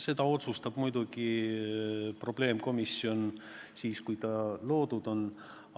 Seda otsustab muidugi probleemkomisjon, kui ta loodud on.